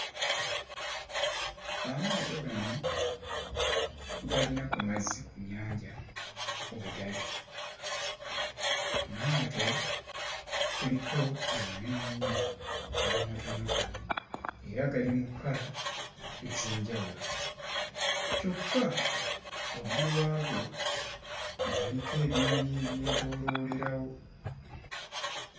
Amaato gano galina ku mazzi ku nnyanja we gali. Maato kuliko amanene ennyo n'amatonotono era gali mu kkala ez'enjawulo kyokka waggulu waago galiko ebinyonyi ebyetooloolerawo.